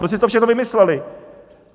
Prostě si to všechno vymysleli!